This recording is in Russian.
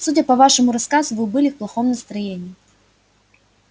судя по вашему рассказу вы были в плохом настроении